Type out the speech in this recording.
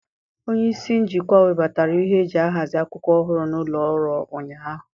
Onye isi njikwa webatara ihe eji ahazi akwụkwọ ọhụrụ n'ụlọ ọrụ ụnyaahụ.